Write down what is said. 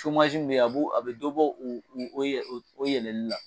min bɛ yen , a bɛ dɔ bɔ olu nin ɲɔgɔn cɛ.